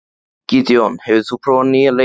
Gídeon, hefur þú prófað nýja leikinn?